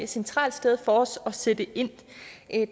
centralt sted for os at sætte ind